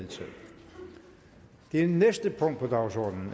tak til ministeren